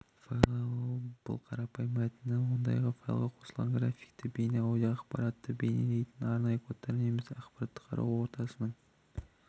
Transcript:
файлы бұл қарапайым мәтіні онда файлға қосылған графикті бейне аудио ақпаратты белгілейтін арнайы кодтар немесе ақпаратты қарау ортасының